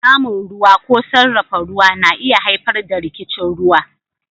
Samun ruwa ko sarrafa ruwa na iya haifar da rikicin ruwa